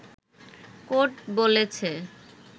court বলেছে